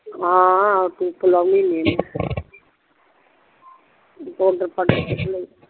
ਹਾਂ ਲੋਂਦੀ ਹੁੰਦੀ ਆ ਮੈ